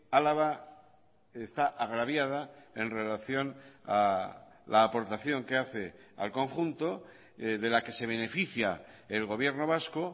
álava está agraviada en relación a la aportación que hace al conjunto de la que se beneficia el gobierno vasco